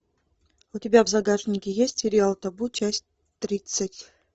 у тебя в загашнике есть сериал табу часть тридцать